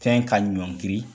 Fɛn ka ɲɔngiri.